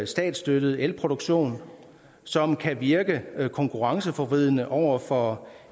statsstøttet elproduktion som kan virke konkurrenceforvridende over for